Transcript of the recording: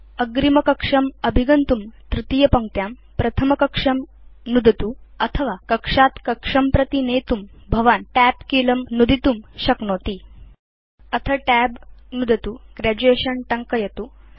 अग्रिमकक्षम् अभिगन्तुं तृतीयपङ्क्त्यां प्रथमकक्षं नुदतुअथवा कक्षात् कक्षं प्रति नेतुं भवान् TAB कीलं नुदितुं शक्नोति अथ TAB नुदतु Graduation टङ्कयतु